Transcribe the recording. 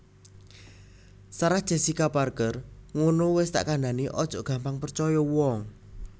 Sarah Jessica Parker ngunu wes tak kandhani ojok gampang percoyo uwong